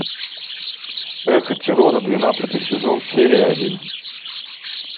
эхо террора двенадцатый сезон серия один